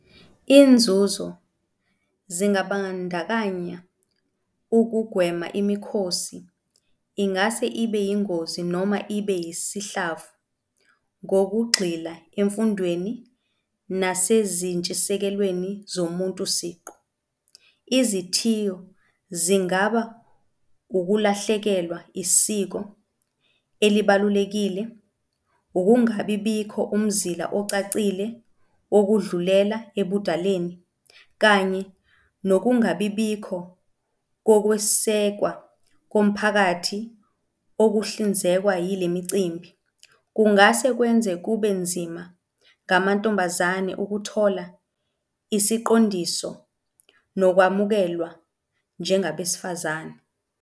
Iy'nzuzo zingabandakanya ukugwema imikhosi ingase ibe yingozi noma ibe yisihlava ngokugxila emfundweni nasezintshisekelweni zomuntu siqu. Izithiyo zingaba ukulahlekelwa isiko elibalulekile, ukungabibikho umzila ocacile wokudlulela ebudaleni kanye nokungabibikho kokwesekwa komphakathi okuhlinzekwa yile micimbi. Kungase kwenze kube nzima ngamantombazane ukuthola isiqondiso nokwamukelwa njengabesifazane.